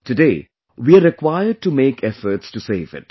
Today we are required to make efforts to save it